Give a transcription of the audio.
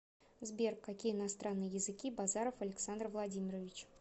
сбер какие иностранные языки базаров александр владимирович